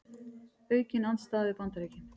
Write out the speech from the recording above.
Aukin andstaða við Bandaríkin